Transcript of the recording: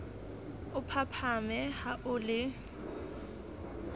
o phaphame ha o le